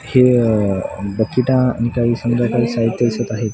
हे बकेटा आणि काही संध्यकाळी साहित्य इथं दिसत आहे.